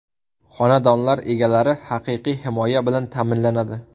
Xonadonlar egalari haqiqiy himoya bilan ta’minlanadi.